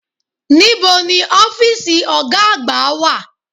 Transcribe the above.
Níbo ni ọ́fìsì ọ̀gá àgbà wà?